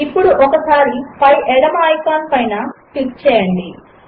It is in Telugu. ఇప్పుడు పై ఎడమ ఐకాన్ పైన ఒకసారి క్లిక్ చేయండి